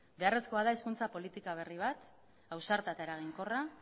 beharrezko da hizkuntza politika berri bat ausarta eta eraginkorra